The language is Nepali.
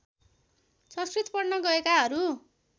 संस्कृत पढ्न गएकाहरू